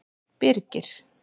Birgir